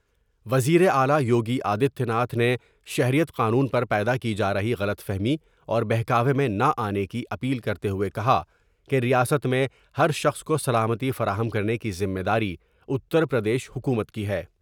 وزیر اعلی یوگی آدتیہ ناتھ نے شہریت قانون پر پیدا کی جارہی غلط فہمی اور بہکاوے میں نہ آنے کی اپیل کرتے ہوۓ کہا کہ ریاست میں ہر شخص کوسلامتی فراہم کرنے کی ذمہ داری اتر پردیش حکومت کی ہے۔